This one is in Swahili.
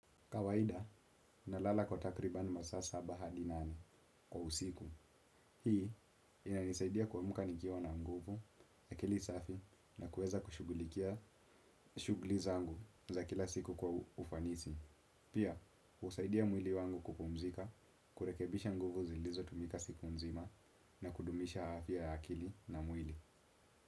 Kawaida, nalala kwa takribani masa saba hadi nane kwa usiku. Hii, inanisaidia kuamka nikiwa na nguvu, akili safi na kuweza kushughulikia shughuli zangu za kila siku kwa ufanisi. Pia, husaidia mwili wangu kupumzika, kurekebisha nguvu zilizotumika siku nzima. Na kudumisha afya ya akili na mwili.